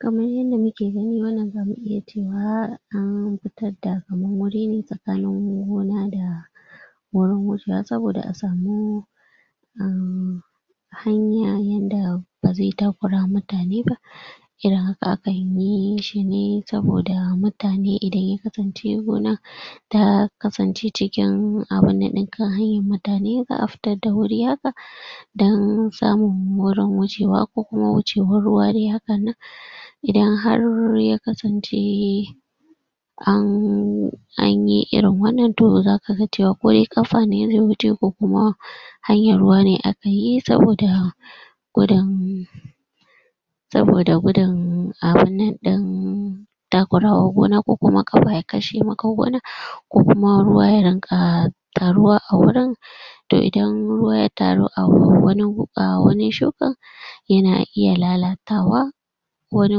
kamar yanda muke gani wannan zamu iya cewa an fitarda kamar wuri ne sakanin gona da wurin wucewa sabida asamu um hanya yanda baze takura mutane ba irin haka akanyi shine saboda mutane idan ya kasance gona da kasance cikin awanan din kan hanyar mutane za'a fitar da wuri haka dan samun wurin wucewa kokuma wucewn ruwa de hakannan idan har ya kasance ann anyi irin wannan um kaga cewa kode kafane ke wucewa kokuma hanyar ruwane akayi saboda gudun saboda gudun abunnan din takura wa gona koko yakashe maka gona kokuma ruwa ya ringa taruwa a wurin to idan ruwa ya taru a wannan gu ko awurin sukan yana iya lalatawa wani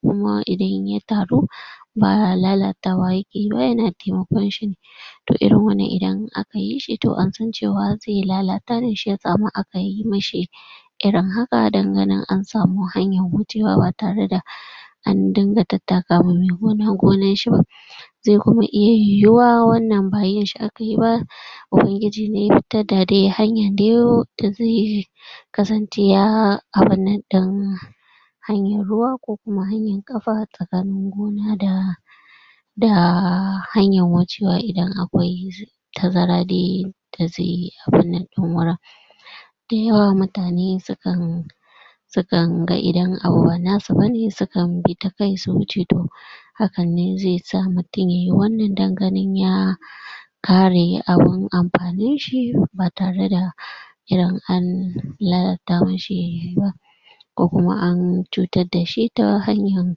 kuma idan ya taru ba lalatawa yakeyiba yana taimakon shine toh irin wanna idan akayishi toh ansan cewa irin hakan don ganin an samu hanyar wucewa ba tareda an dinga tattaka wa me gona gonarshiba ze iya kuma yuwa wannan ba yinshi akayiba ubangiji ne ya fitar da deyi hanyar dayayo abun nan din anyi ruwa ko kuma hanyar kafa sakanin gona da da hanyar wucewa idan akwai tazara de daze abunnan din wurin dayawa mutane sukan sukan ga idan abu ba nasu bane su kan bi takai su wuce hakan ne zesa mutun yayi wannan dan gani ya kare abun anfaninshi ba tareda irin an lalata mishi ba ko kuma an cutar dashi ta tahanyar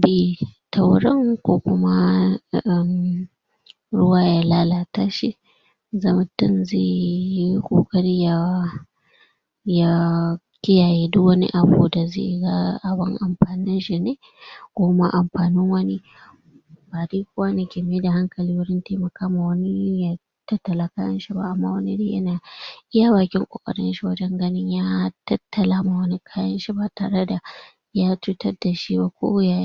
bi tawurin kokuma daga ruwa ya lalata shi da mutum zeyi kokari ya ya kiyaye duk wani abinda ze ga abun anfaninshine koma anfanin wani tattala kayanshi ba wani iya bakin kokarinshi wajan ganin ya tattala wa wani kayanshi ba tareda ya cutarda shiba ko ya.